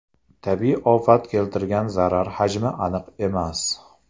Tabiiy ofat keltirgan zarar hajmi aniq emas.